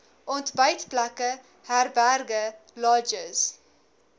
ontbytplekke herberge lodges